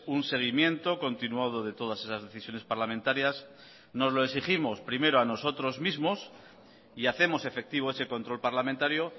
un seguimiento continuado de todas esas decisiones parlamentarias nos lo exigimos primero a nosotros mismos y hacemos efectivo ese control parlamentario